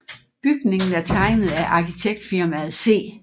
Bygningen er tegnet af Arkitektfirmaet C